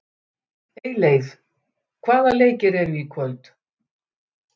Eyleif, hvaða leikir eru í kvöld?